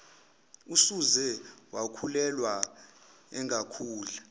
usuze wakhulelwa engakudla